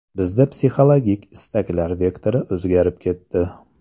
Bizda psixologik istaklar vektori o‘zgarib ketdi.